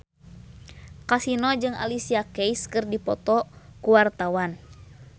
Kasino jeung Alicia Keys keur dipoto ku wartawan